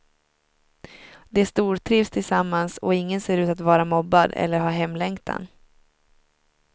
De stortrivs tillsammans och ingen ser ut att vara mobbad eller ha hemlängtan.